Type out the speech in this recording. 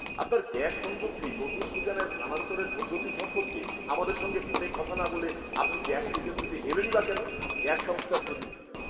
আপনার গ্যাস সংযোগটি নতুন ঠিকানায় স্থানান্তরের পদ্ধতি সম্পর্কে আমাদের সঙ্গে ফোনে কথা না বলে আপনি গ্যাস এজেন্সিতে এলেনই বা কেন? গ্যাস সংস্থার প্রতিনিধি